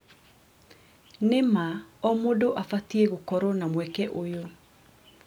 Nĩ ma, O mũndũ abatiĩ gũkorwo na mweke ũyũ.